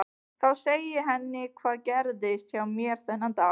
Þá segi ég henni hvað gerðist hjá mér þennan dag.